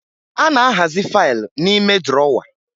A na-ahazi faaịlụ n'ime drọwa